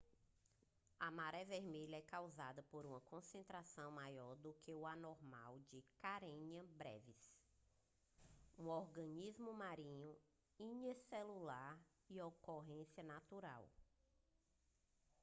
a maré vermelha é causada por uma concentração maior do que a normal de karenia brevis um organismo marinho unicelular de ocorrência natural